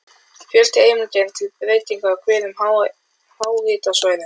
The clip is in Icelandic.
Fjöldi heimilda er til um breytingar á hverum á háhitasvæðum.